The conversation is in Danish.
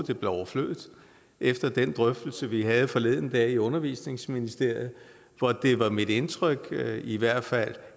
det blev overflødigt efter den drøftelse vi havde forleden dag i undervisningsministeriet hvor det var mit indtryk i hvert fald